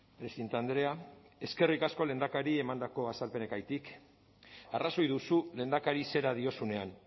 presidente andrea eskerrik asko lehendakari emandako azalpenengatik arrazoi duzu lehendakari zera diozunean